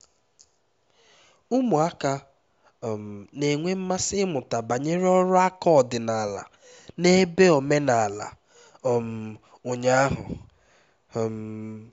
ụmụaka um na-enwe mmasị ịmụta banyere ọrụ aka ọdịnala na ebe omenala um ụnya ahụ um